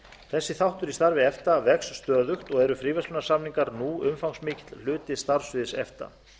þessi þáttur í starfi efta vex stöðugt og eru fríverslunarsamningar nú umfangsmikill hluti starfssviðs efta